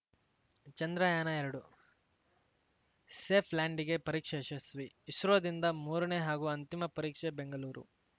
ಚಂದ್ರಯಾನಎರಡು safe ಲ್ಯಾಂಡಿಂಗೆ ಪರೀಕ್ಷೆ ಯಶಸ್ವಿ ಇಸ್ರೋದಿಂದ ಮೂರನೇ ಹಾಗೂ ಅಂತಿಮ ಪರೀಕ್ಷೆ ಬೆಂಗಳೂರು